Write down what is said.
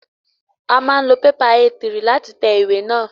A máa ń lo pépà Éé 3 láti tẹ ìwé náà.